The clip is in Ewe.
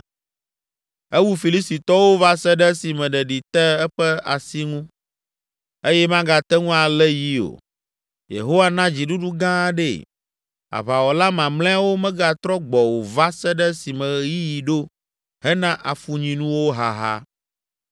Ewu Filistitɔwo va se ɖe esime ɖeɖi te eƒe asi ŋu eye magate ŋu alé yi o; Yehowa na dziɖuɖu gã aɖee. Aʋawɔla mamlɛawo megatrɔ gbɔ o va se ɖe esime ɣeyiɣi ɖo hena afunyinuwo haha!